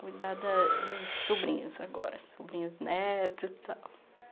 Cuidar da dos sobrinhos agora, sobrinhos netos e tal.